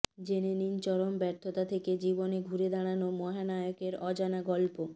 জেনে নিন চরম ব্যর্থতা থেকে জীবনে ঘুরে দাঁড়ানো মহানায়কের অজানা গল্প